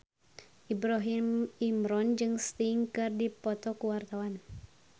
Ibrahim Imran jeung Sting keur dipoto ku wartawan